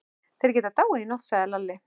Þeir geta dáið í nótt, sagði Lalli.